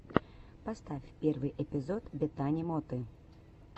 поставь первый эпизод бетани моты